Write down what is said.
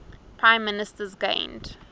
prime ministers gained